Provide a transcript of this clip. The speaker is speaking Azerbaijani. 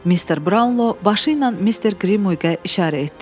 Mister Brownlo başı ilə Mister Grimuiqə işarə etdi.